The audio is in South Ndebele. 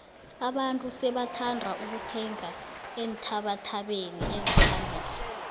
abantu sebathanda ukuthenga eenthabathabeni eziphambili